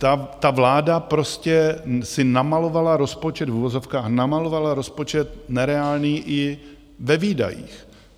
Ale vláda prostě si namalovala rozpočet, v uvozovkách namalovala rozpočet nereálný i ve výdajích.